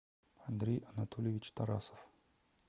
андрей анатольевич тарасов